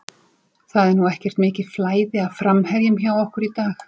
Það er nú ekkert mikið flæði af framherjum hjá okkur í dag.